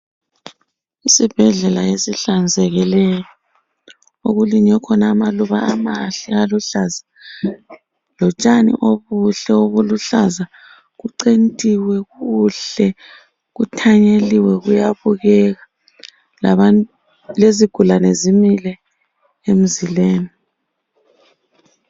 Isibhedlela esihlanzekileyo. Okulinywe khona amaluba amahle aluhlaza lotshani obuhle obuluhlaza. Kucentiwe kuhle, kuthanyeliwe kuyabukeka, lezigulane zimile emzileni.